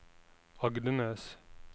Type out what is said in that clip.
Agdenes